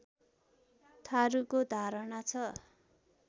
थारुको धारणा छ